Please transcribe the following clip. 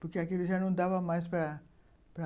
Porque aquilo já não dava mais para para